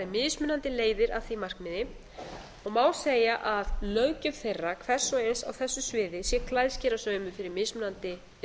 mismunandi leiðir að því markmiði og má segja að löggjöf þeirra hvers og eins á þessu sviði sé klæðskerasaumuð fyrir mismunandi